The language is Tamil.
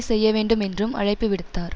செய்யவேண்டும் என்றும் அழைப்பு விடுத்தார்